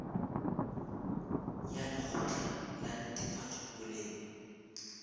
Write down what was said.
ya lekgotla la netefatšo boleng